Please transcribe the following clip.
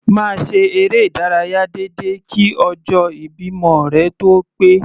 Máa ṣe eré ìdárayá déédéé kí ọjọ́ ìbímọ rẹ tó ó pé.